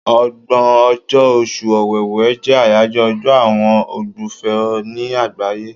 Ọgbọ̀n ọjọ́, Oṣù Ọ̀wẹ̀wè jẹ́ àyájọ́ ọjọ́ àwọn ogbùfọ̀ ní àgbáyé.